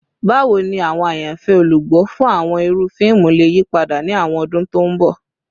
Bawo ni awọn ayanfẹ olugbo fun awọn iru fiimu le yipada ni awọn ọdun to nbọ?